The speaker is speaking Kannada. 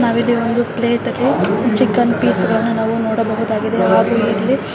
ನಾವು ಇಲ್ಲಿ ಒಂದು ಪ್ಲೇಟ್ ಅಲ್ಲಿ ಚಿಕೆನ್ ಪೀಸ್ಗಳನ್ನ ನಾವು ನೋಡಬಹುದಾಗಿದೆ ಹಾಗು ಇಲ್ಲಿ --